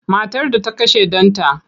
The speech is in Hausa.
Matar da ta kashe ɗanta.